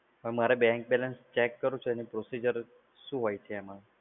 મારે bank balance check કરવું છે તો એમા શું procedure હોય છે એમાં?